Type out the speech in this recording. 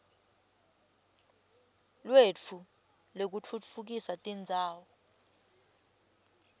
lwetfu lwekutfutfukisa tindzawo